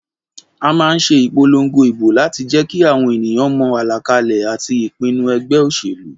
A má nse ìpolongo ìbò láti jékí àwon ènìyàn mo àlàkalè àti ìpinu egbé òsèlú